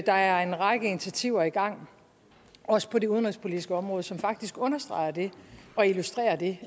der er en række initiativer i gang også på det udenrigspolitiske område som faktisk understreger det og illustrerer det